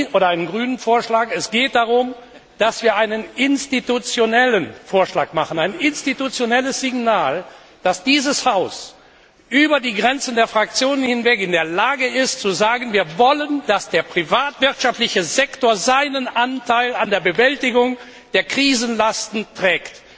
oder einen Grünen Vorschlag geht. Es geht darum, dass wir einen institutionellen Vorschlag machen, ein institutionelles Signal setzen, dass dieses Haus über die Grenzen der Fraktionen hinweg in der Lage ist zu sagen Wir wollen, dass der privatwirtschaftliche Sektor seinen Anteil an der Bewältigung der Krisenlasten trägt.